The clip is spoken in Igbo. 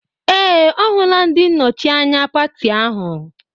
Ee! Ọ hụla ndị nnọchi anya pati ahụ.